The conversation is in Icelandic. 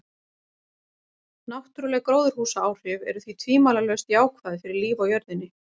Náttúruleg gróðurhúsaáhrif eru því tvímælalaust jákvæð fyrir líf á jörðinni.